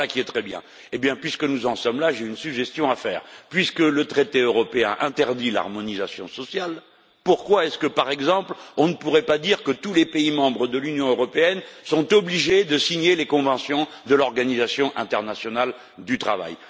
Voilà qui est très bien! Puisque nous en sommes là, j'ai une suggestion à faire vu que le traité européen interdit l'harmonisation sociale, pourquoi, par exemple, ne pourrions-nous pas dire que tous les pays membres de l'Union européenne sont obligés de signer les conventions de l'Organisation internationale du travail?